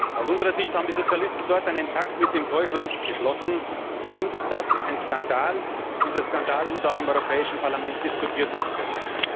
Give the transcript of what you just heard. Aus unserer Sicht haben die Sozialisten dort einen Pakt mit dem Teufel geschlossen. Für uns ist das ein Skandal und dieser Skandal muss auch im Europäischen Parlament diskutiert werden können.